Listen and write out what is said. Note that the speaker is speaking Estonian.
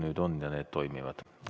Nüüd on ja need toimivad.